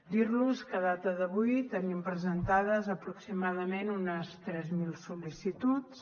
dir los que a data d’avui tenim presentades aproximadament unes tres mil sol·licituds